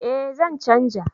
Eh zan canja